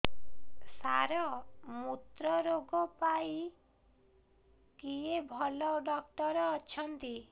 ସାର ମୁତ୍ରରୋଗ ପାଇଁ କିଏ ଭଲ ଡକ୍ଟର ଅଛନ୍ତି